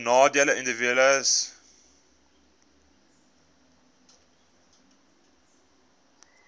benadeelde individue hbis